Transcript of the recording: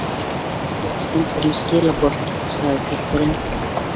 Ég var sendur með skilaboð, sagði pilturinn.